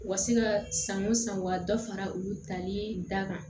U ka se ka san o san wa dɔ fara olu tali da kan